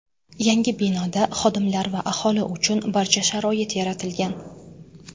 Yangi binoda xodimlar va aholi uchun barcha sharoit yaratilgan.